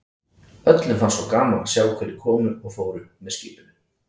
Öllum fannst svo gaman að sjá hverjir komu og fóru með skipinu.